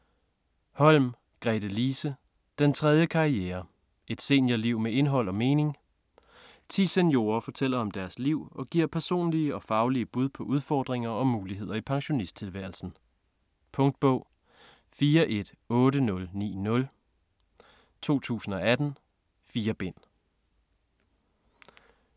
Holm, Gretelise: Den tredje karriere: et seniorliv med indhold og mening Ti seniorer fortæller om deres liv og giver personlige og faglige bud på udfordringer og muligheder i pensionisttilværelsen. Punktbog 418090 2018. 4 bind.